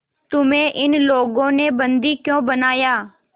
तुम्हें इन लोगों ने बंदी क्यों बनाया